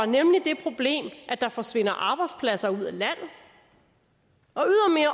nemlig det problem at der forsvinder arbejdspladser ud af landet og